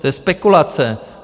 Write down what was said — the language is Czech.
To je spekulace!